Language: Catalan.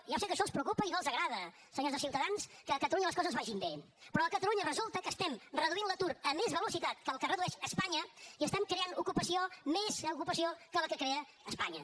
ja ho sé que això els preocupa i no els agrada senyors de ciutadans que a catalunya les coses vagin bé però a catalunya resulta que reduïm l’atur a més velocitat de la que el redueix espanya i creem ocupació més ocupació de la que crea espanya